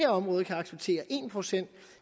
område kan acceptere en procent